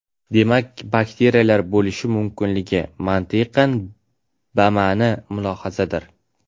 Demak, bakteriyalar bo‘lishi mumkinligi – mantiqan bama’ni mulohazadir.